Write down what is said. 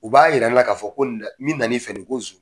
U b'a yira ne la k'a fɔ ko nin na min na n'i fɛ ko nson.